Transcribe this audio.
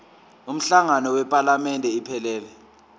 umhlangano wephalamende iphelele